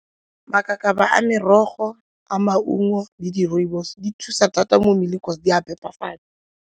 Makakaba a merogo, a maungo le di rooibos di thusa thata mo mmeleng gore di a phepafala.